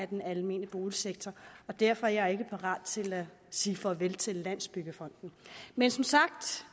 den almene boligsektor derfor er jeg ikke parat til at sige farvel til landsbyggefonden men som sagt